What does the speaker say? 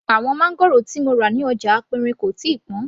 Àwọn máńgòrò tí mo rà ní ọjà aperin kò tíì pọn